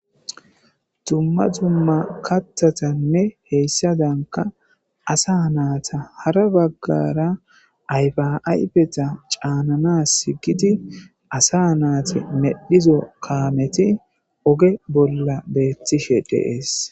Dumma dumma kathatanne hessaadankka asa naata hara baggara ayfa ayfeta caananaasi giidi asa nayti medhida kaameti oge bolla beetishe de7ees.